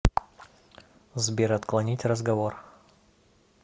сбер отклонить разговор